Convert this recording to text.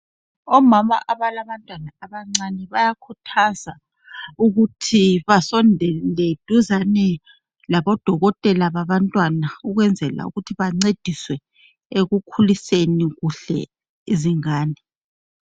Omama abalabantwana abancane bayakhuthazwa ukuthi basondele duzane labodokotela babantwana. Kwenzela ukuthi bancediswe ekukhuliseni kuhle izingane.